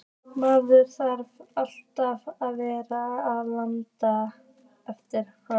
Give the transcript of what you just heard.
Maður þarf alltaf að vera að laga eftir hana.